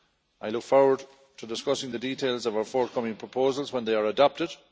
I look forward to discussing the details of our forthcoming proposals when they are adopted.